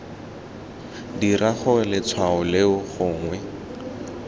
dira gore letshwao leo gongwe